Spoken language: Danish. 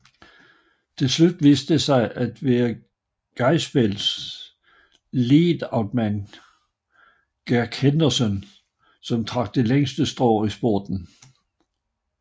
Tilslut viste det sig at være Greipels leadoutman Greg Henderson som trak det længste strå i spurten